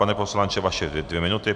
Pane poslanče, vaše dvě minuty.